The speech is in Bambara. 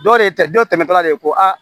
Dɔ de tɛ dɔ tɛmɛtɔla de ko a